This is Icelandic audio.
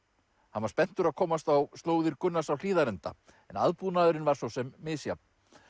hann var spenntur að komast á slóðir Gunnars á Hlíðarenda en aðbúnaðurinn var svo sem misjafn